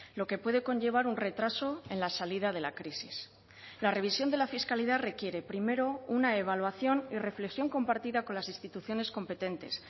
lo que puede conllevar un retraso en la salida de la crisis la revisión de la fiscalidad requiere primero una evaluación y reflexión compartida con las instituciones competentes